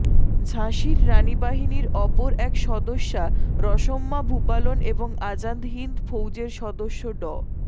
ঝাঁসির রানি বাহিনীর অপর এক সদস্যা রসম্মা ভূপালন এবং আজাদ হিন্দ ফৌজের সদস্য ড